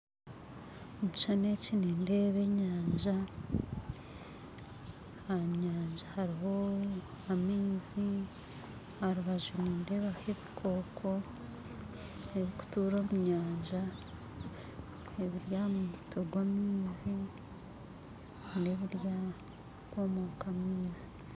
Omukishushani eki nindeebaho enyanja aha nyanja hariho amaizi aharubaju nindeebaho ebikooko ebiri kutuura omunyanja ebiri aha mutwe gw'amaizi